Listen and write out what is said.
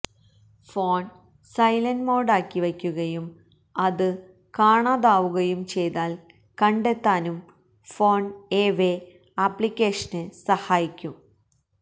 phone silent മോഡിലാക്കി വയ്ക്കുകയും അത് കാണാതാവുകയും ചെയ്താല് കണ്ടെത്താനും ഫോണ്എവെ ആപ്ലിക്കേഷന് സഹായിക്കും